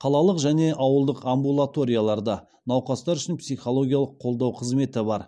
қалалық және ауылдық амбулаторияларда науқастар үшін психологиялық қолдау қызметі бар